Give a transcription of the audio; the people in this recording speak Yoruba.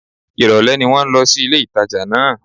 Ìrọ̀lẹ́ ni mò ń lọ sí ilé-ìtàjà náà